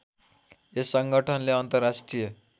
यस संगठनले अन्तर्राष्ट्रिय